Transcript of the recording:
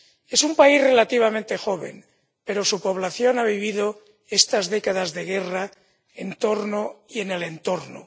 Es un país relativamente joven, pero su población ha vivido estas décadas de guerra en torno y en el entorno.